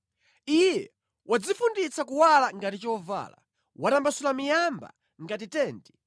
Iye wadzifunditsa kuwala ngati chovala; watambasula miyamba ngati tenti